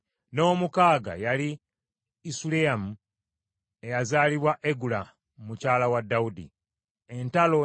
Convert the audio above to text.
n’ow’omukaaga yali Isuleyamu, eyazaalibwa Egula mukyala wa Dawudi. Abo be baazaalirwa Dawudi mu Kebbulooni.